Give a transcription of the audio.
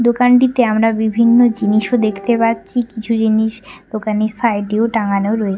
দোকানটিতে আমরা বিভিন্ন জিনিসও দেখতে পাচ্ছি কিছু জিনিস দোকানে সাইড এও টাঙানো রয়ে--